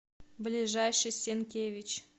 ближайший сенкевич